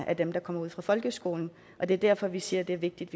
af dem der går ud af folkeskolen og det er derfor vi siger det er vigtigt